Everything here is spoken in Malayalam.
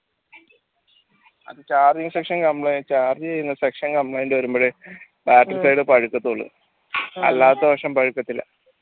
charging section complaint charge ചെയ്യുന്ന section complaint വരുമ്പളെ backside അല്ലാത്തപക്ഷം പഴുക്കത്തില്ല